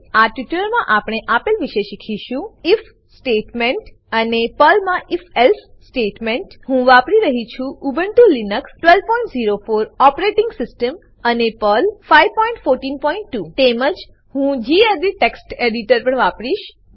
આ ટ્યુટોરીયલમાં આપણે આપેલ વિશે શીખીશું આઇએફ સ્ટેટમેન્ટ અને પર્લમા if એલ્સે સ્ટેટમેન્ટ હું વાપરી રહ્યી છું ઉબુન્ટુ લીનક્સ 1204 ઓપરેટીંગ સીસ્ટમ અને પર્લ પર્લ 5142 તેમજ હું ગેડિટ ટેક્સ્ટ એડીટર પણ વાપરીશ